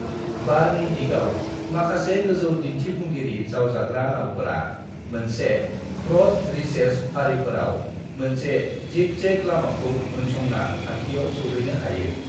"बारनि दिगाव, माखासे गोजौ दिन्थिफुंगिरि जावजाग्रा नावफोरा मोनसे ब्रड रीचेस फारिफोराव मोनसे जिग-जैग लामाखौ उनसंना थांखियाव सौहेनो हायो।"